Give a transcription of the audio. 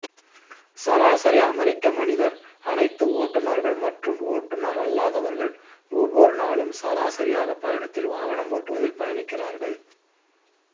சராசரி அமெரிக்க மனிதர் அனைத்து ஓட்டுநர்கள் மற்றும் ஓட்டுநரல்லாதவர்கள் ஒவ்வொரு நாளும் சராசரியாக பயணத்தில் வாகனம் ஓட்டுவதில் பயணிக்கிறார்கள்